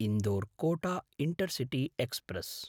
इन्दोर्–कोट intercity express